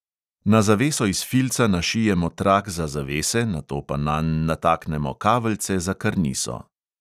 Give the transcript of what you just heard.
Na zaveso iz filca našijemo trak za zavese, nato pa nanj nataknemo kaveljce za karniso.